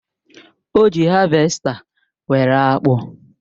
O ji havèsta were akpụ.